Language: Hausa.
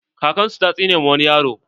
Kakan su ta tsine ma wani yaro.